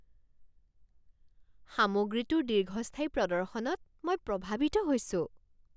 সামগ্ৰীটোৰ দীৰ্ঘস্থায়ী প্ৰদৰ্শনত মই প্ৰভাৱিত হৈছো।